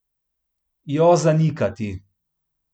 Jo zanikati.